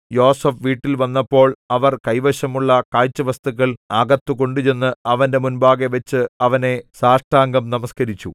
യോസേഫ് വീട്ടിൽ വന്നപ്പോൾ അവർ കൈവശമുള്ള കാഴ്ച വസ്തുക്കൾ അകത്തുകൊണ്ടുചെന്ന് അവന്റെ മുമ്പാകെവച്ച് അവനെ സാഷ്ടാംഗം നമസ്കരിച്ചു